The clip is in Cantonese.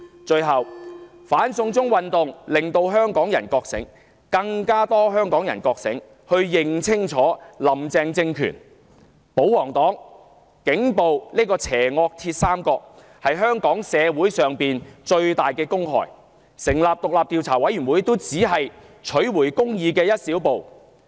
最後，"反送中"運動令更多香港人覺醒，認清"林鄭"政權、保皇黨和警暴這個邪惡鐵三角是香港社會的最大公害，成立獨立調查委員會只是取回公義的一小步。